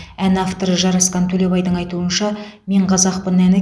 ән авторы жарасқан төлебайдың айтуынша мен қазақпын әні